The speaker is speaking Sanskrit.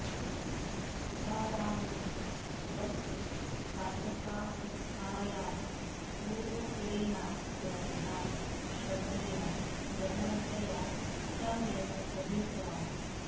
तुकारामः स्वस्य साधकावस्थायां पूर्वसूरिणां ग्रन्थान् श्रद्धया गहनतया सम्यक् अधीतवान्